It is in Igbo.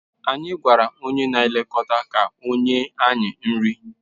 Anyị gwara onye na-elekọta ka o nye anyị nri